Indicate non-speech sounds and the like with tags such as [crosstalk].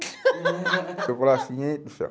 [laughs] Eu falava assim, gente do céu.